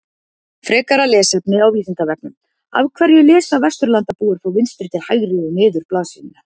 Frekara lesefni á Vísindavefnum Af hverju lesa Vesturlandabúar frá vinstri til hægri og niður blaðsíðuna?